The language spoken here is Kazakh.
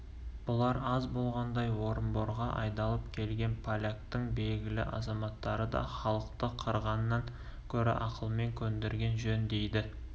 бұлар аз болғандай орынборға айдалып келген поляктың белгілі азаматтары да халықты қырғаннан гөрі ақылмен көндірген жөн дейді